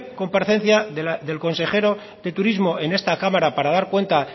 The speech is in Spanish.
comparecencia del consejero de turismo en esta cámara para dar cuenta